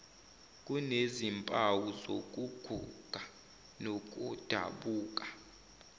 kunezimpawu zokuguga nokudabuka